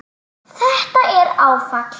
Þetta er áfall